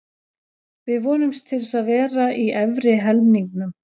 Við vonumst til að vera í efri helmingnum.